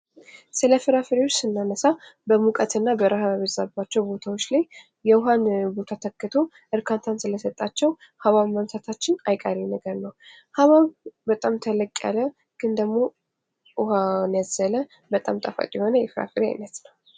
ስለ ፍራፍሬ ስናነሳ በሙቀትና በርሀባቸው ቦታዎች ላይ የውሃ ቦታ ትክቶ እርካታ ስለሰጣቸው ሀባብ ምግዛታችን አይቀሬ ነገር ነው። ሀባብ በጣም ተለቅ ያለ ግን ደሞ ውሀን ያዘለ በጣም ጣፋጭ የሆነ የፍራፍሬ አይነትነው።